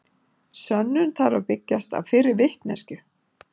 Sönnun þarf að byggjast á fyrri vitneskju.